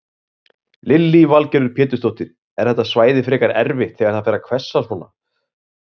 Lillý Valgerður Pétursdóttir: Er þetta svæði frekar erfitt þegar það fer að hvessa svona?